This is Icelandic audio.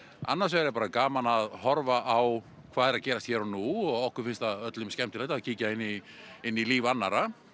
annars vegar er bara gaman að horfa á hvað er að gerast hér og nú og okkur finnst það öllum skemmtilegt að kíkja inn í inn í líf annarra